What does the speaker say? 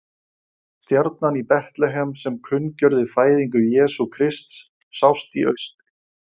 Stjarnan í Betlehem sem kunngjörði fæðingu Jesú Krists, sást í austri: